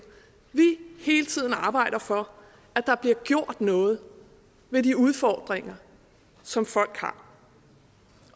hele tiden arbejder for at der bliver gjort noget ved de udfordringer som folk har